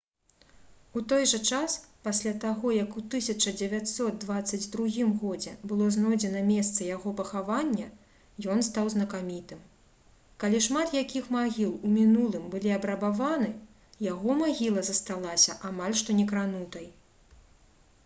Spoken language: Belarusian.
у той жа час пасля таго як у 1922 г было знойдзена месца яго пахавання ён стаў знакамітым калі шмат якіх магіл у мінулым былі абрабаваны яго магіла засталася амаль што некранутай